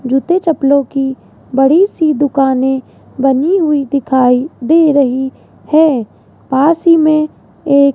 जूते चप्पलों की बड़ी सी दुकाने बनी हुई दिखाई दे रही है पास ही में एक --